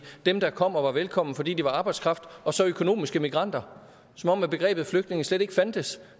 dem der kom og var velkomne fordi de var arbejdskraft og så økonomiske migranter som om begrebet flygtninge slet ikke fandtes